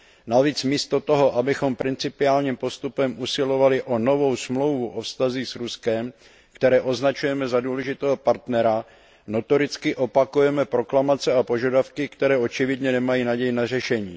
Navíc místo toho, abychom principiálním postupem usilovali o novou smlouvu o vztazích s Ruskem, které označujeme za důležitého partnera, notoricky opakujeme proklamace a požadavky, které očividně nemají naději na řešení.